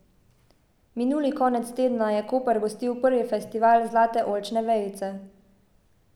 Minuli konec tedna je Koper gostil prvi Festival zlate oljčne vejice.